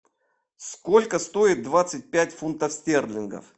сколько стоит двадцать пять фунтов стерлингов